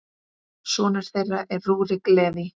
Sonur þeirra er Rúrik Leví.